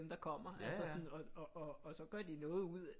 Der kommer altså sådan og så gør de noget ud